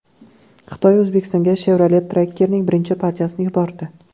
Xitoy O‘zbekistonga Chevrolet Tracker’ning birinchi partiyasini yubordi.